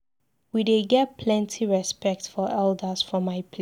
We dey get plenty respect for elders for my place.